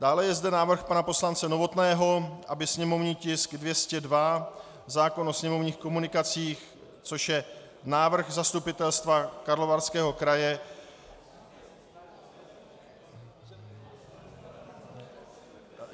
Dále je zde návrh pana poslance Novotného, aby sněmovní tisk 202, zákon o sněmovních komunikacích, což je návrh Zastupitelstva Karlovarského kraje...